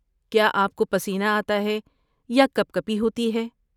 کیا آپ کو پسینہ آتا ہے یا کپکپی ہوتی ہے؟